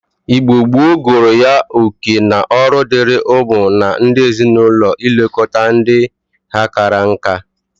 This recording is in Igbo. Igbo gboo gụrụ ya oke na ọrụ diri ụmụ na ndi ezi-na-ulo ilekọta ndi ha kara nka.